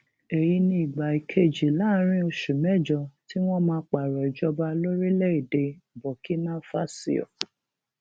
èyí ni ìgbà kejì láàrin oṣù mẹjọ tí wọn máa pààrọ ìjọba lórílẹèdè burkinafásio